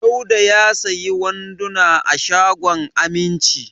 Dauda ya sayi wanduna a shagon Aminci.